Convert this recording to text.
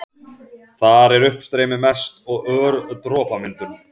Þar er uppstreymi mest og ör dropamyndun.